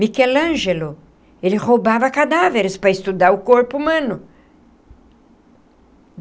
Michelangelo... ele roubava cadáveres para estudar o corpo humano.